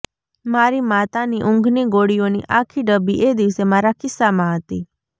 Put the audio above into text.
મારી માતાની ઊંઘની ગોળીઓની આખી ડબ્બી એ દિવસે મારા ખિસ્સામાં હતી